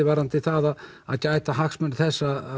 varðandi það að gæta hagsmuna þess